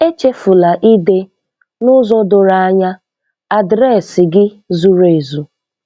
Echefula ide, n'ụzọ doro anya, adreesị gị zuru ezu.